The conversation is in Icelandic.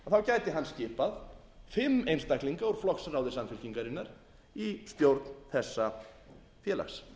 hann skipað fimm einstaklinga úr flokksráði samfylkingarinnar í stjórn þessa félags